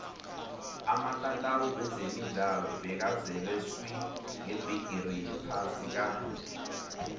amatatawu wezemidlalo bekazele swi ngebhigiri yephasi ka